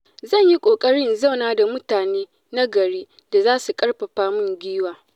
Zan yi ƙoƙari in zauna da mutane na gari da za su ƙarfafa min gwiwa.